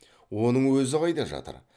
оның өзі қайда жатыр